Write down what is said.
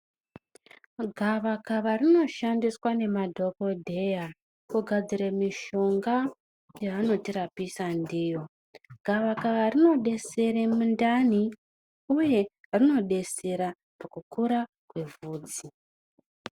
Gavakava rinoshandiswa nemadhogodheya kugadzira mishonga yavanotirapisa ndiyo. Gavakava rinobesere mundani, uye rinobesera mukukura kwevhudzi.